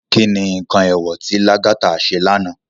Ki ni nkán éwò ti Lagata sé lànå?